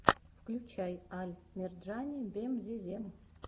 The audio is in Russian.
включай аль мерджани бемзезем